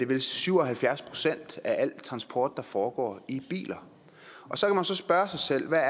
vist syv og halvfjerds procent af al transport der foregår i biler så kan man så spørge sig selv hvad